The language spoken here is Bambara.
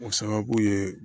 O sababu ye